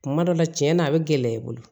Kuma dɔ la cɛn na a bɛ gɛlɛya i bolo